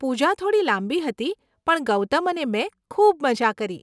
પૂજા થોડી લાંબી હતી પણ ગૌતમ અને મેં ખૂબ મઝા કરી.